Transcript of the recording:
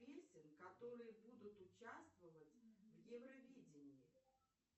песен которые будут участвовать в евровидении